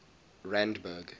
randburg